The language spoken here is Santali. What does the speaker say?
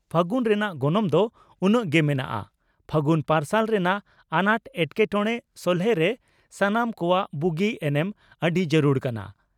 ᱯᱷᱟᱹᱜᱩᱱ ᱨᱮᱱᱟᱜ ᱜᱚᱱᱚᱝ ᱫᱚ ᱩᱱᱟᱹᱝ ᱜᱮ ᱢᱮᱱᱟᱜᱼᱟ ᱾ᱯᱷᱟᱜᱩᱱ ᱯᱟᱨᱥᱟᱞ ᱨᱮᱱᱟᱜ ᱟᱱᱟᱴ ᱮᱴᱠᱮᱴᱚᱲᱮ ᱥᱚᱞᱦᱮᱨᱮ ᱥᱟᱱᱟᱢ ᱠᱚᱣᱟᱜ ᱵᱩᱜᱤ ᱮᱱᱮᱢ ᱟᱹᱰᱤ ᱡᱟᱨᱩᱲ ᱠᱟᱱᱟ